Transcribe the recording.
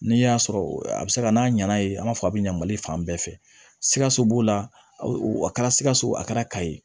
N'i y'a sɔrɔ a bɛ se ka n'a ɲana ye an b'a fɔ a bɛ ɲɛ mali fan bɛɛ fɛ sikaso b'o la a kɛra sikaso a kɛra ka ye